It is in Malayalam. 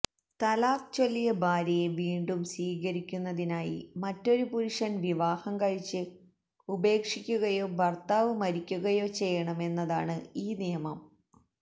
തലാക്ക് ചൊല്ലിയ ഭാര്യയെ വീണ്ടും സ്വീകരിക്കുന്നതിനായി മറ്റൊരു പുരുഷന് വിവാഹം കഴിച്ച് ഉപേക്ഷിക്കുകയോ ഭര്ത്താവ് മരിക്കുകയോ ചെയ്യണമെന്നതാണ് ഈ നിയമം